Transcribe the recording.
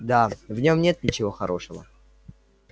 да в нём нет ничего хорошего